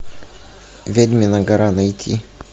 ведьмина гора найти